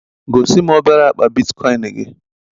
Gosi m obere akpa Bitikoin gị